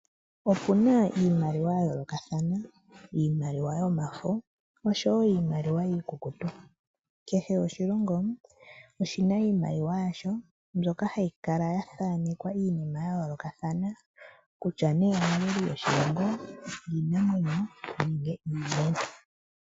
Opuna iimaliwa ya yoolokathana iimaliwa yomafo oshowo iimaliwa iikukutu. Kehe oshilongo oshina iimaliwa yasho mbyoka hayi kala ya thaanekwa iinima ya yoolokothana kutya ne omaliko goshilongo nenge iiniinamwenyo.